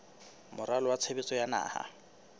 moralo wa tshebetso wa naha